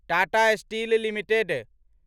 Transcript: Tata steel limited